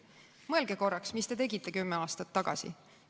Mõelge korraks, mis te tegite kümme aastat tagasi!